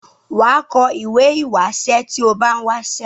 wà á kọ ìwé ìwásẹ́ tí o bá n̄ wásẹ́.